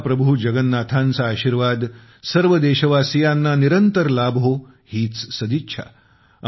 महाप्रभू जगन्नाथांचा आशीर्वाद सर्व देशवासियांना निरंतर लाभो हीच सदिच्छा